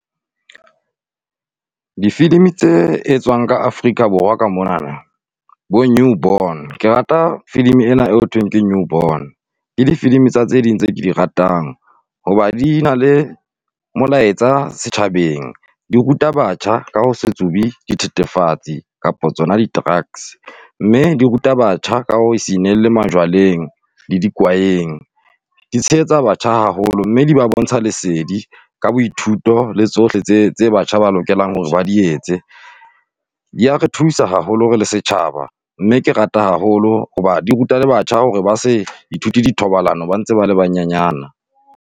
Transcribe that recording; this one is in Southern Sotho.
Difilimi tse etswang ka Afrika Borwa ka monana, bo-New Born. Ke rata filimi e na e ho thweng ke New Born. Ke difilmi tsa tse ding tse ke di ratang, hoba di na le molaetsa setjhabeng. Di ruta batjha ka ho se tsubi dithethefatsi, kapa tsona di-drugs. Mme di ruta batjha, ka ho se inehele jwaleng. Di tshehetsa batjha haholo mme di ba bontsha lesedi ka boithuto le tsohle tse, tse batjha ba lokelang hore ba di etse. Di ya re thusa haholo re le setjhaba, mme ke rata haholo hoba di ruta le batjha hore ba se, ithuti dithobalano ba ntse ba le banyenyana.